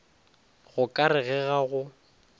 go ka re ga go